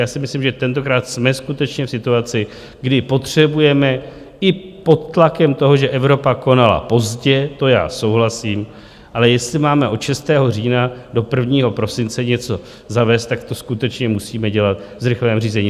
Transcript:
Já si myslím, že tentokrát jsme skutečně v situaci, kdy potřebujeme i pod tlakem toho, že Evropa konala pozdě, to já souhlasím, ale jestli máme od 6. října do 1. prosince něco zavést, tak to skutečně musíme dělat v zrychleném řízení.